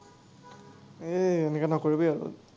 এ, এনেকুৱা নকৰিবি আৰু।